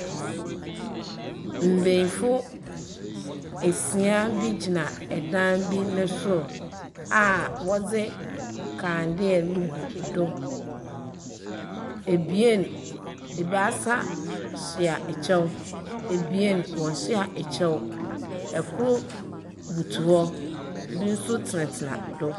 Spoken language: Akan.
Mbesiafo esia bi gyina edan bi ne soro a wɔdzi nkandeɛ le gu do. Ebaase hyɛ ɛkyɛw, ebien wɔn hyɛ ɛkyɛw. Ɛkor butow hɔ, bi nso tena tena do.